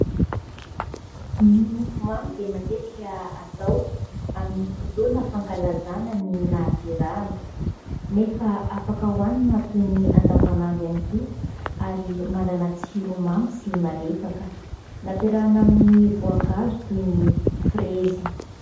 Ny mofo mamy dia matetika atao amin'ny fotoana fankalazana ny nahaterahana, nefa afaka hoanina toy ny amin' ny andavanandro ihany koa, ary manana tsiro mamy sy malefaka. Nampiarahana amin'ny voankazo toy ny frezy.